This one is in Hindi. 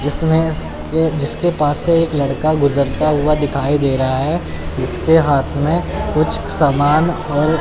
जिसमें के जिसके पास से एक लड़का गुजरता हुआ दिखाई दे रहा है इसके हाथ में कुछ समान और--